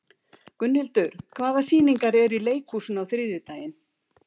Gunnhildur, hvaða sýningar eru í leikhúsinu á þriðjudaginn?